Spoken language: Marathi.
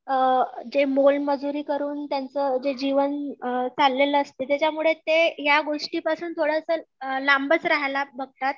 अ जे मोल मजुरी करून त्यांचं जे जीवन अ चाललेलं असतंय त्याच्यामुळे ते या गोष्टीपासून थोडंसं लांबच राहायला बघतात.